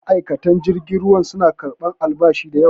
ma'aikatan jirgin ruwa suna karɓar albashi da yawa